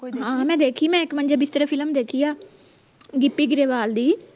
ਮੈਂ ਦੇਖੀ ਮੈਂ ਇਕ ਮੰਜੇ ਬਿਸਤਰੇ ਫਿਲਮ ਦੇਖੀ ਆ ਗਿਪੀ ਗਰੇਵਾਲ ਦੀ